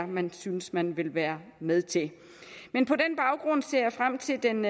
man synes man vil være med til men på den baggrund ser jeg frem til den